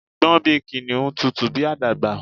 Gbọ́n bíi Kìnìún! Tutù bíi àdàbà